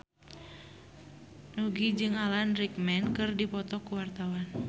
Nugie jeung Alan Rickman keur dipoto ku wartawan